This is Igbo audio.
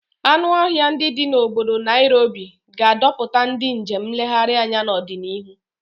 Anụ ọhịa ndi di na obodo Nairobi ga-adọta ndị njem nlegharị anya n'ọdịnihu.